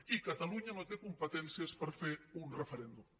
i catalunya no té competències per fer un referèndum